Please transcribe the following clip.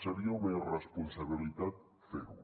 seria una irresponsabilitat fer ho